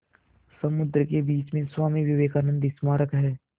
समुद्र के बीच में स्वामी विवेकानंद स्मारक है